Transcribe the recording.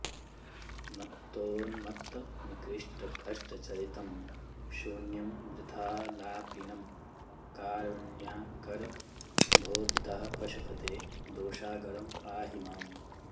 मत्तोन्मत्तनिकृष्टकष्टचरितं शून्यं वृथालापिनं कारुण्याकर भो पितः पशुपते दोषाकरं पाहि माम्